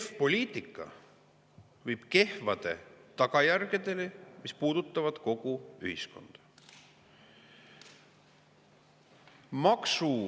Kehv poliitika viib kehvade tagajärgedeni, mis puudutavad kogu ühiskonda.